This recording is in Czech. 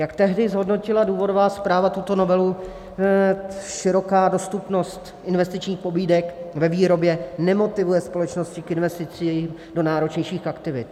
Jak tehdy zhodnotila důvodová zpráva tuto novelu, široká dostupnost investičních pobídek ve výrobě nemotivuje společnosti k investicím do náročnějších aktivit.